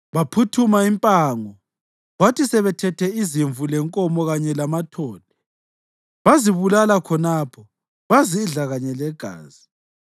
Baphuthuma impango, kwathi sebethethe izimvu lenkomo kanye lamathole, bazibulala khonapho bazidla kanye legazi.